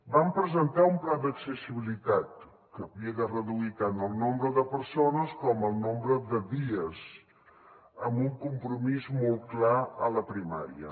vam presentar un pla d’accessibilitat que havia de reduir tant el nombre de persones com el nombre de dies amb un compromís molt clar a la primària